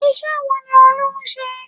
Iṣẹ́ wo ni Olú ń ṣe?